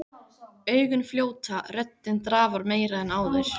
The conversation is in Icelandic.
Augun fljóta, röddin drafar meira en áður.